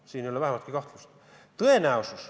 Selles ei ole vähimatki kahtlust.